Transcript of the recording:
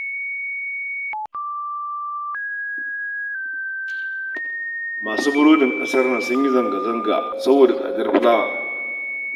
Masu burodin ƙasar nan sun yi zanga-zanga saboda tsadar fulawa